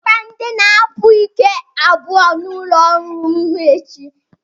kpọbata ndị na-akpa ike abụọ n'ụlọ ọrụ m echi